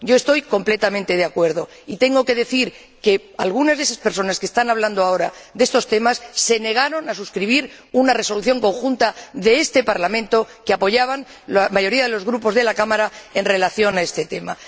Yo estoy completamente de acuerdo, y tengo que decir que algunas de esas personas que están hablando ahora de estos temas se negaron a suscribir una resolución conjunta de este Parlamento que apoyaban la mayoría de los grupos de la Cámara en relación con este tema.